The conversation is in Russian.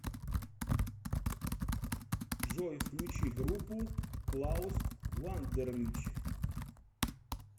джой включи группу клаус вандерлич